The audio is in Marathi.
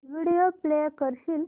व्हिडिओ प्ले करशील